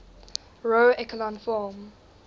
row echelon form